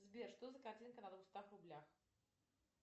сбер что за картинка на двухстах рублях